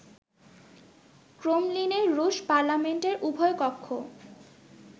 ক্রেমলিনে রুশ পার্লামেন্টের উভয় কক্ষ